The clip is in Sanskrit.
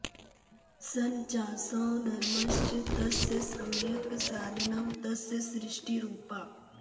सन् चासौ धर्मश्च तस्य सम्यक् साधनं तस्य सृष्टि रूपा